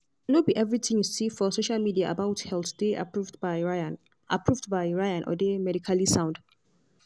no be everything you see for social media about health dey approved by ryan approved by ryan or dey medically sound.